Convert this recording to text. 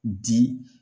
Di